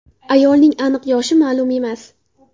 Ayolning aniq yoshi ma’lum emas.